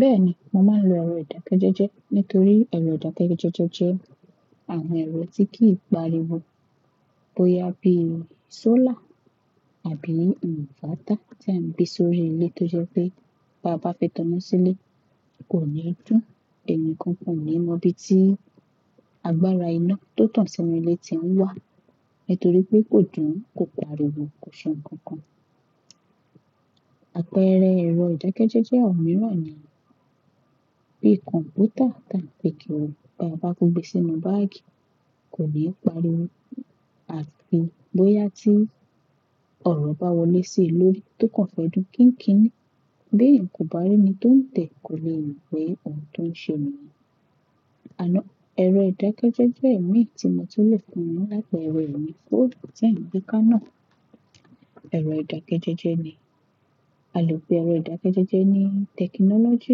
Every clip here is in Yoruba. Bẹ́ẹ̀ni, mo máa ń lo ẹ̀rọ ìdákẹ́jẹ́jẹ́ nítorí ẹ̀rọ ìdákẹ́jẹ́jẹ́ jẹ́ àwọn ẹ̀rọ tí kì í pariwo. Bo ya bí i sólà àbí inverter tí à ń gbé sórí ilé tó jẹ́ pé bá bá fẹ́ táná sílé kò ní dùn. Ẹni kankan ò ní mọ̀ ibi tí agbára iná tó tàn sínú ilé tí òun wà nítorí pé kò dùn, kò pariwo, kò ṣe nǹkan kan. Àpẹẹrẹ ẹ̀rọ ìdákẹ́jẹ́jẹ́ ọ̀wọ̀n mìíràn ni bí kọ̀mpútà ta lè kíri, bí a bá kó gbé sínú báàgì kò ní pariwo àti bóyá tí ọ̀rọ̀ bá wọlé sí i lórí tó kàn fẹ́ dùn kíńkín ní, bí ènìyàn kò bá rí ẹni tó ń tẹ̀ kò lè mọ̀ pé òun tó ń ṣe ni. Àná ẹ̀rọ ìdákẹ́jẹ́jẹ́ mí tí mo tún lè fún yín la pere ẹ ni fóònù tí ẹ ń gbé ká náà. Ẹ̀rọ ìdákẹ́jẹ́jẹ́ ni. A lè pe ẹ̀rọ ìdákẹ́jẹ́jẹ́ ní tẹkinọ́lọ́jì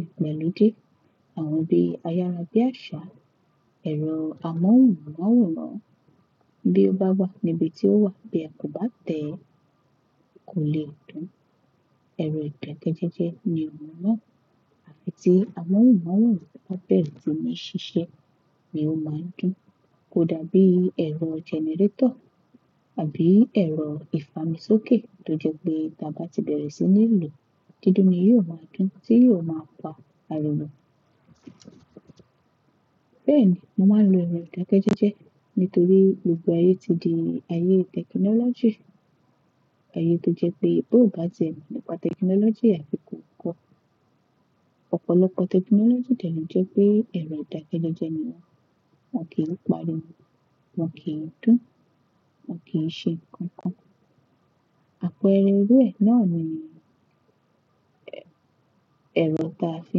ìgbàlódé. Àwọn bíi ayára bí àṣá, ẹ̀rọ amóhùnmáwòrán bí ó bá wà níbi tí ó wà bí ẹ kò bá tẹ kò lè dùn. Ẹ̀rọ ìdákẹ́jẹ́jẹ́ ni òun náà. Àfi tí amóhùnmáwòrán bá bẹ̀rẹ̀ sí ní ṣiṣẹ́ ni ó máa ń dùn. Kò dàbí ẹ̀rọ jẹnẹrétọ̀ àbí ẹ̀rọ ìfamiṣókè tó jẹ́ pé ká bá ti bẹ̀rẹ̀ sí ní lo, dídún ni yóò máa dùn tí yóò máa pa àríwó. Bẹ́ẹ̀ni, mo máa ń lo ẹ̀rọ ìdákẹ́jẹ́jẹ́ nítorí gbogbo ayé ti di ayé tẹkinọ́lọ́jì. Ayé tó jẹ́ pé bó bá ti ẹ̀ mọ̀ nípa tẹkinọ́lọ́jì àfi kò kó. Ọ̀pọ̀lọpọ̀ tẹkinọ́lọ́jì dẹ́ lo jẹ́ pé ẹ̀rọ ìdákẹ́jẹ́jẹ́ ni wọ́n. Wọn kì í pariwo, wọn kì í dùn, wọn kì í ṣe nǹkan kan. Àpẹẹrẹ ru ẹ náà ni ẹ̀rọ ta fi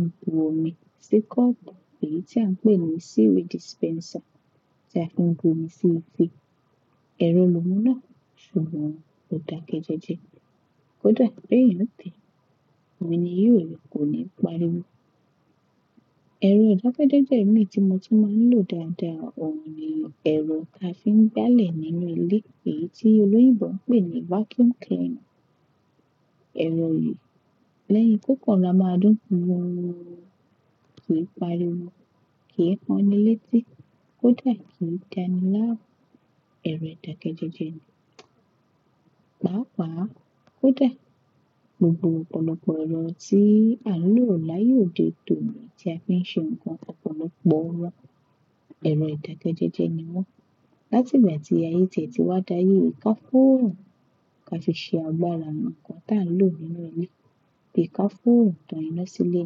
ń bu omi sí kọ́ọ̀bù, èyí tí à ń pè ní síwa dispẹnsà tí a fi ń bu omi sí nu ìfẹ́. Ẹ̀rọ lo un náà ṣùgbọ́n ò dákẹ́jẹ́jẹ́. Kò dà bẹ́ yẹn tẹ́, ọmi ní yóò ní kò ní pariwo. Ẹ̀rọ ìdákẹ́jẹ́jẹ́ mí tí mo tún máa ń lò dáadáa òun ni ẹ̀rọ ta fi ń gbálẹ̀ nínú ilé èyí tí olóyìnbo ń pè ní vacum cleaner. Ẹ̀rọ yìí lẹ́yìn kókan rọra máa dún, kò pariwo, kì í han ní léti, kò dà kí dáni láàmú. Ẹ̀rọ ìdákẹ́jẹ́jẹ́ ni. Paápa, kò dà gbogbo ọ̀pọ̀lọpọ̀ ẹ̀rọ tí à ń lò láàyè òde òní tí a fi ń ṣe nǹkan ọ̀pọ̀lọpọ̀ wọ́n. Ẹ̀rọ ìdákẹ́jẹ́jẹ́ ni wọ́n. Látìgbà tí ayé tìẹ̀ tí wá dà ayé káfún ò rùn ká fi ṣe àgbára àwọn nǹkan tá nlò nínú ilé. Bí ka fo ò rùn tán iná sílé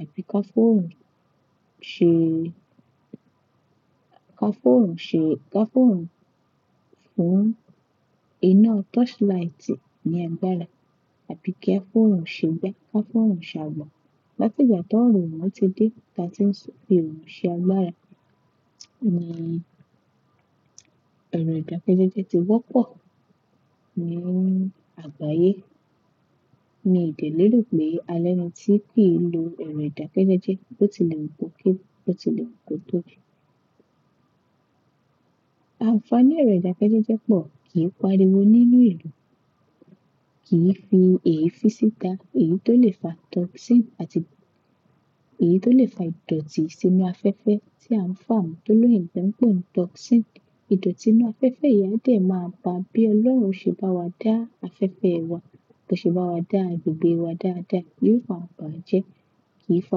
àbí ka fo o run bo rùn ṣe ká fò o rùn fún iná torchlight ni àgbára àbí kí ká fo ò rùn ṣe gba ká fún ò rùn ṣe àgba. Látìgbà tó òrò orun ti dé láti ń fi ọ̀run ṣe agbára. Ni ẹ̀rọ ìdákẹ́jẹ́jẹ́ ti wọ́pọ̀ ní àgbáyé.mi dẹ̀ lé rò pé a lẹ́ni tí kì í lo ẹ̀rọ ìdákẹ́jẹ́jẹ́ ó ti lè wù kó kéré, bó ti lè wù kó tóbi. Àǹfààní ẹ̀rọ ìdákẹ́jẹ́jẹ́ pọ̀ kì í pariwo nínú ìlú, kì í fi èéfín síta èyí tó lè fa toxin àti èyí tó lè fa ìdọ̀tí sínú afẹ́fẹ́ tí à ń fà tó ló yìnbó ń pè ní toxin. Ìdọ̀tí inú afẹ́fẹ́ yẹn dẹ̀ máa ba bí Ọlọ́run ṣe bá wa dá afẹ́fẹ́ wa, bó ṣe bá wa dá agbègbè wa dáadáa, yóò fa àǹfààní jẹ́. Kì í fa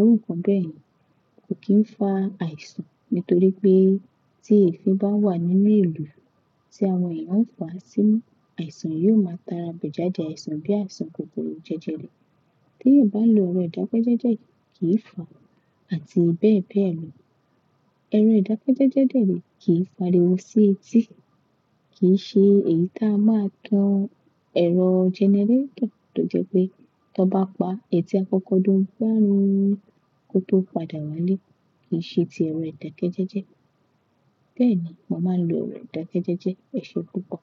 orúkàn bẹ́ ye. Kò kí ń fa àìsàn nítorí pé tí èéfín bá wà nínú ìlú tí àwọn èèyàn ń fa à sí imú, àìsàn yóò máa ta ra bẹ̀ jáde àìsàn bí àìsàn kòkòrò jẹ́jẹrẹ. Tí èèyàn bá lo ẹ̀rọ ìdákẹ́jẹ́jẹ́ kì í fà àti bẹ́ẹ̀ bẹ́ẹ̀ lọ. Ẹ̀rọ ìdákẹ́jẹ́jẹ́ dẹ̀ ni kì í pariwo sí etí, kì í ṣe èyí ta a máa tan ẹ̀rọ jẹnẹrétọ̀ tó jẹ́ pé tán bá pa, ètí akọ́kọ́ dún gbárù kó tó padà wá lé. Kì í ṣe ti ẹ̀rọ ìdákẹ́jẹ́jẹ́. Bẹ́ẹ̀ni, mo máa ń lo ẹ̀rọ ìdákẹ́jẹ́jẹ́ eṣẹ púpọ̀.